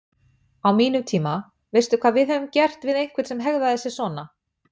Á mínum tíma, veistu hvað við hefðum gert við einhvern sem hegðaði sér svona?